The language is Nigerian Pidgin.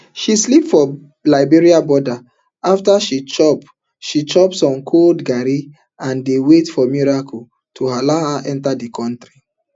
she sleep for liberia border afta she chop she chop some cold garri and dey wait for miracle to allow her enta di kontri